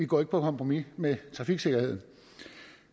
går på kompromis med trafiksikkerheden